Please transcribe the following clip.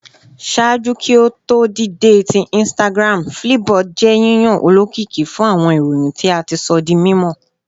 Ṣaaju ki o to dide ti Instagram, Flipboard jẹ yiyan olokiki fun awọn iroyin ti a ti sọ di mimọ